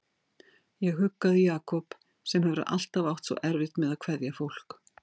Ég huggaði Jakob sem hefur alltaf átt svo erfitt með að kveðja fólk.